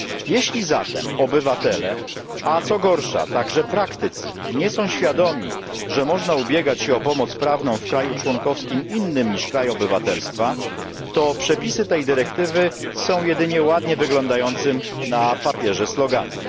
Jeśli zatem obywatele a co gorsza także praktycy nie są świadomi, że można ubiegać się o pomoc prawną w kraju członkowskim innym niż kraj obywatelstwa, to przepisy tej dyrektywy są jedynie ładnie wyglądającym na papierze sloganem.